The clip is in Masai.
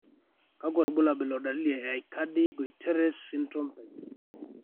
kakwa irbulabol o dalili e Aicardi Goutieres syndrome type 4?